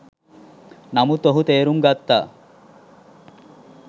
නමුත් ඔහු තේරුම් ගත්තා